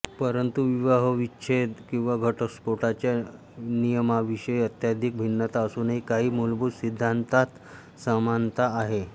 परंतु विवाहविच्छेद किंवा घटस्फोटाच्या नियमांविषयी अत्यधिक भिन्नता असूनही काही मूलभूत सिद्धांतांत समानता आहे